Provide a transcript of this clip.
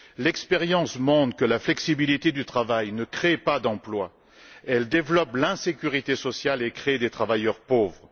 L'expérience montre que la flexibilité du travail ne crée pas d'emplois, elle développe l'insécurité sociale et crée des travailleurs pauvres.